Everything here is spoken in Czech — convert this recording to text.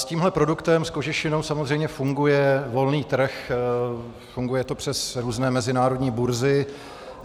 S tímhle produktem, s kožešinou, samozřejmě funguje volný trh, funguje to přes různé mezinárodní burzy.